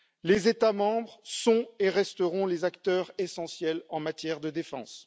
Les États membres sont et resteront les acteurs essentiels en matière de défense.